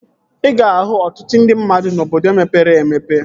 Ị ga-ahụ ọtụtụ ndị mmadụ n'obodo mepere emepe